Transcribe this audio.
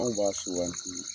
Anw b'a suganti.